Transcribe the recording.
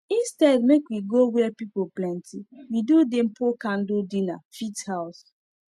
instead make we go where pple plenty we do dimple candle dinner fit house